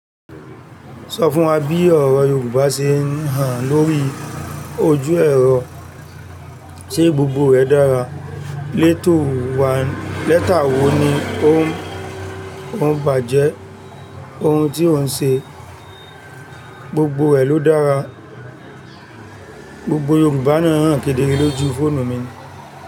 Sọ fún wa bí ọ̀rọ̀ Yorùbá ṣe ń hàn lórí ojú ẹ̀rọ se gbògbò rẹ̀ dára. Lẹ́tà wo ni ó ń bàjẹ́, ohun tí ó ń sẹ, gbogbo rẹ̀ ló dára. Gbogbo Yorùbá náà ń hàn kedere lójú fóònù mi.